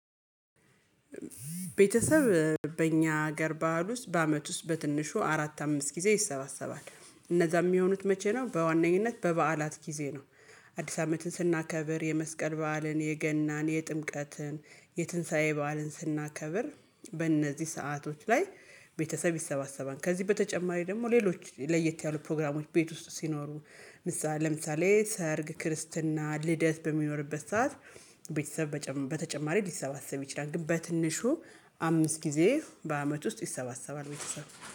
ቤተሰብ በአኛ ሀገር በዓል ውስጥ በአመት ውስጥ በትንሹ አራት አምስት ጊዜ ይሰባሰባል። እነዛ የሚሆኑት መቼ ነው በዋነኝነት በበዓላት ጊዜ ነው። አዲስ አመትን ስናከብር የመስቀል በዓልን የገናን የጥምቀትን የትንሳኤ በዓልን ስናከብር በእነዚህ ሰአቶች ላይ ቤተሰብ ይሰባሰባል። ከዚህ በተጨማሪ ደግሞ ሌሎች ለየት ያሉ ፕሮግራሞች ቤት ውስጥ ሲኖሩ ለምሳሌ ሰርግ ክርስትና ልደት በሚኖርበት ሰዓት ቤተሰብ በተጨማሪ ሊሰባሰብ ይችላል። ግን በትንሹ አምስት ጊዜ በአመት ውስጥ ይሰባሰባል ቤተሰብ።